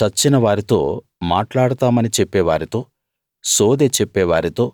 చచ్చిన వారితో మాట్లాడుతామని చెప్పేవారితో సోదె చెప్పే వారితో